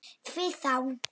Því þá?